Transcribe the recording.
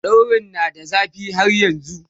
daurin na da zafi har yanzun